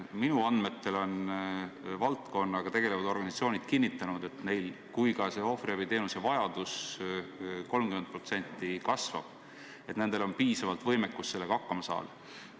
Minu andmetel on valdkonnaga tegelevad organisatsioonid kinnitanud, et kui ohvriabiteenuse vajadus peaks ka 30% kasvama, on neil ikkagi piisavalt võimekust sellega hakkama saada.